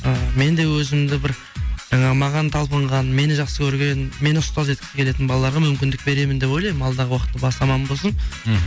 ы мен де өзімді бір жаңағы маған талпынған мені жақсы көрген мені ұстаз еткісі келетін балаларға мүмкіндік беремін деп ойламын алдағы уақытта бас аман болсын мхм